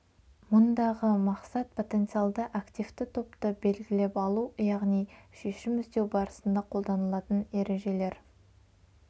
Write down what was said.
мұндағы мақсат потенциалды активті топты белгілеп алу яғни шешім іздеу барысында қолданылатын ережелер